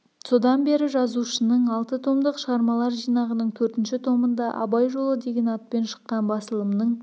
содан бері жазушының алты томдық шығармалар жинағының төртінші томында жылы абай жолы деген атпен шыққан басылымның